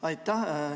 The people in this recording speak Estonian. Aitäh!